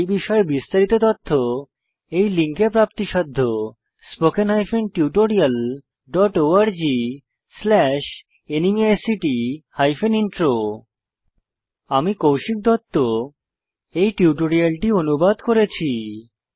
এই বিষয়ে বিস্তারিত তথ্য এই লিঙ্কে প্রাপ্তিসাধ্য spoken hyphen tutorial dot org slash ন্মেইক্ট হাইপেন ইন্ট্রো আমি কৌশিক দত্ত এই টিউটোরিয়ালটি অনুবাদ করেছি